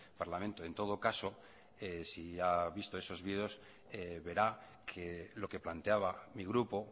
parlamento en todo caso si ha visto esos vídeos verá que lo que planteaba mi grupo